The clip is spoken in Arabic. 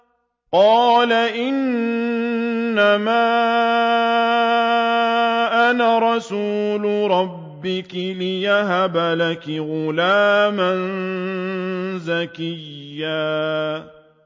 قَالَ إِنَّمَا أَنَا رَسُولُ رَبِّكِ لِأَهَبَ لَكِ غُلَامًا زَكِيًّا